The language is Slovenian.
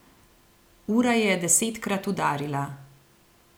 Ura je desetkrat udarila.